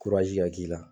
ka k'i la